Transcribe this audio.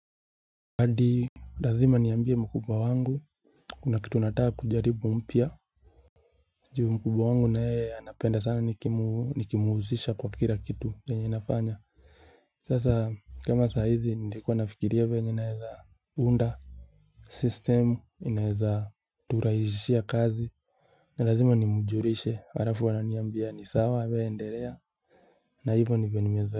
Hadi lazima niambie mkubwa wangu kuna kitu nataka kujaribu mpya juu mkubwa wangu naye anapenda sana nikimuhusisha kwa kila kitu yenye nafanya sasa kama saa hizi nilikuwa nafikiria venye naeza unda system inaeza turahisishia kazi na lazima nimjulishe halafu ananiambia ni sawa wewe endelea na hivyo nivyonimezo.